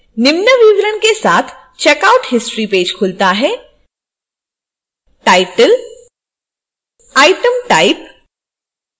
निम्न विवरण के साथ checkout history पेज खुलता है